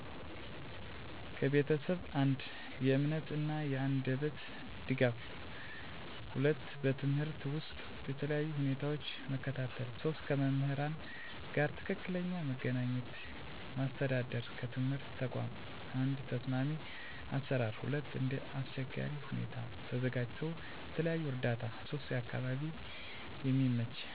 ከቤተሰብ፦ 1. የእምነት እና የአንደበት ድጋፍ 2. በትምህርት ውስጥ በተለያዩ ሁኔታዎች መከታተል 3. ከመምህራን ጋር ትክክለኛ መገናኘት ማስተዳደር ከትምህርት ተቋም፦ 1. ተስማሚ አሰራር 2. እንደ አስቸጋሪ ሁኔታ ተዘጋጅቶ የተለየ እርዳታ 3. አካባቢ የሚመች መማሪያ መንገድ፣ መሳሪያ እና መንቀሳቀስ መተላለፊያ የሚያስፈልጉ እርምጃዎች፦ የህክምና መረጃ አቅርቦት፣ የተለየ መማሪያ እቅድ እና ዕቃዎች በማስተካከል፣ አዋቂ ምሁራን እነዚህ ድጋፍ እና እርምጃዎች እኩል ዕድል ለማምጣት በጣም ወሳኝ ናቸው።